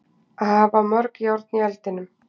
Að hafa mörg járn í eldinum